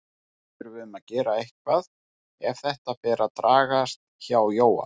Við þurfum að gera eitthvað ef þetta fer að dragast hjá Jóa.